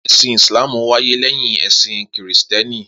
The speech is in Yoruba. Esin Islam wáyé leyin esin kìristíèni